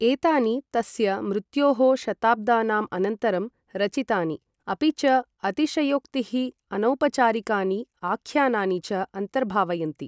एतानि तस्य मृत्योः शताब्दानाम् अनन्तरं रचितानि, अपि च अतिशयोक्तिः, अनौपचारिकानि आख्यानानि च अन्तर्भावयन्ति।